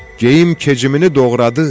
Geyim kecimini doğradı,